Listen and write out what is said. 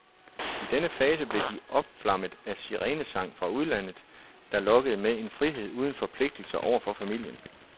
I denne fase blev de opflammet af sirenesang fra udlandet, der lokkede med en frihed uden forpligtelser over for familien.